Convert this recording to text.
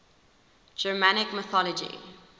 germanic mythology